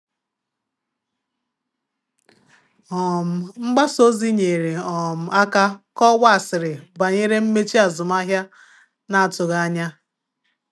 um Mgbasa ozi nyere um aka kọwaa asịrị banyere mmechi azụmahịa na-atụghị anya.